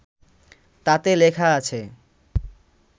তাতে লেখা আছে